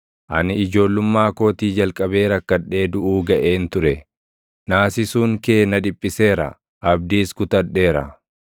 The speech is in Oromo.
Ani ijoollummaa kootii jalqabee rakkadhee duʼuu gaʼeen ture; naasisuun kee na dhiphiseera; abdiis kutadheera.